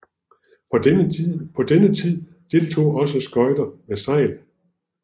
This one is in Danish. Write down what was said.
På denne tid deltog også skøjter med sejl